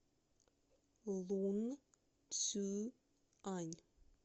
лунцюань